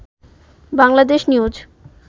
Bangladesh news